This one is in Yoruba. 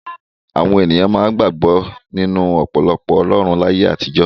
Àwọn ènìyàn máa ń gbàgbọ́ nínú ọ̀pọ̀lọpọ̀ ọlọ́run láyé àtijọ́.